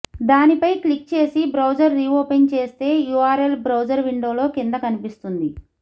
దానిపై క్లిక్ చేసి browser reopen చేస్తే యూఆర్ఎల్ బ్రౌజర్ విండోలో కింద కనిపిస్తుంది